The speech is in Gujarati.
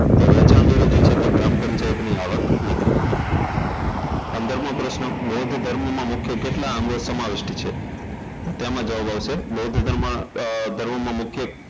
વેચાણ વેરોજે છે એ ગ્રામ પંચાયતની આવક નથી પંદરમો પ્રશ્ન બૌદ્ધ ધર્મમાં મુખ્ય કેટલા અંગો સમાવિષ્ટ છે તો તેમાં જવાબ આવશે બૌદ્ધ અમ ધર્મમાં મુખ્ય